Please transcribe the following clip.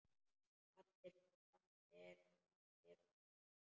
Allir svo saddir og svona.